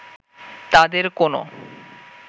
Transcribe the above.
তাঁদের কোনো